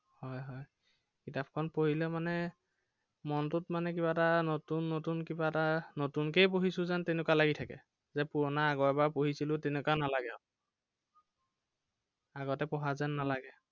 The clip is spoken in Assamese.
হয় হয়। কিতাপখন পঢ়িলে মানে, মনটোত মানে কিবা এটা নতুন নতুন কিবা এটা নতুনকেই পঢ়িছো যেন তেনেকুৱাই লাগি থাকে। যে পুৰণা আগৰ এবাৰ পঢ়িছিলো তেনেকুৱা নালাগে আৰু। আগতে পঢ়া যেন নালাগে আৰু।